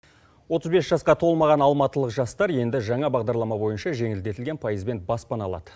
отыз бес жасқа толмаған алматылық жастар енді жаңа бағдарлама бойынша жеңілдетілген пайызбен баспана алады